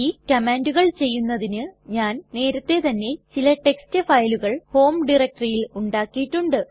ഈ കമ്മാൻണ്ടുകൾ ചെയ്യുന്നതിന് ഞാൻ നേരത്തെ തന്നെ ചില ടെക്സ്റ്റ് ഫയലുകൾ ഹോം ഡയറക്ടറിയിൽ ഉണ്ടാക്കിയിട്ടുണ്ട്